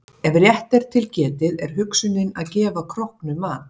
Ef rétt er til getið er hugsunin að gefa króknum mat.